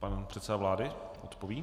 Pan předseda vlády odpoví.